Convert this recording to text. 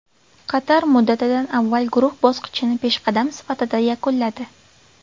Qatar muddatidan avval guruh bosqichini peshqadam sifatida yakunladi.